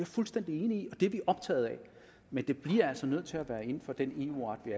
fuldstændig enig i og det er vi optaget af men det bliver altså nødt til at være inden for den eu ret vi